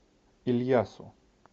ильясу